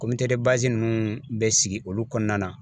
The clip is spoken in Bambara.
ninnu bɛ sigi olu kɔnɔna na